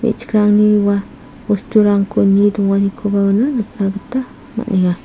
me·chikrangni ua bosturangko nie donganikoba uano nikna gita man·enga.